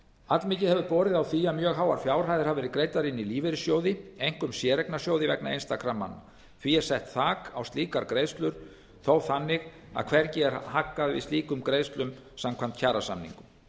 allmikið hefur borið á því að mjög háar fjárhæðir hafa verið greiddar inn í lífeyrissjóði einkum séreignasjóði vegna einstakra manna því er sett þak á slíkar greiðslur þó þannig að hvergi er haggað við slíkum greiðslum samkvæmt kjarasamningum